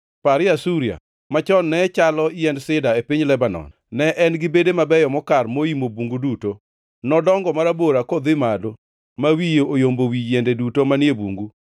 Parie Asuria, machon ne chalo yiend sida e piny Lebanon, ne en gi bede mabeyo mokar moimo bungu duto. Nodongo marabora kodhi malo ma wiye oyombo wi yiende duto manie bungu.